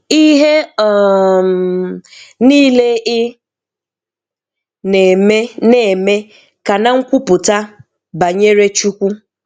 Ihe um niile ị na-eme na-eme ka a na nkwupụta banyere chukwu